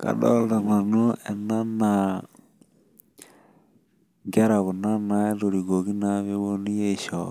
kadoolta nanu ena naa inkera kuna natorikuoki aisho